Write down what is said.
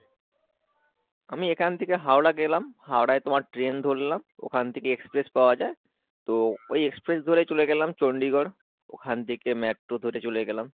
আমি এখান থেকে হাওড়া গেলাম, হাওড়াই তোমার train ধরলাম ওখান থেকে express পাওয়া যাই তো ওই express ধরে চলে গেলাম চণ্ডীগড় ওখান থেকে metro ধরে চলে গেলাম।